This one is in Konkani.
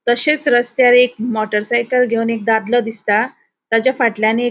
तशेच रस्त्यार एक मोटर साइकल घेवन एक दादलों दिसता ताच्या फाटल्यान एक --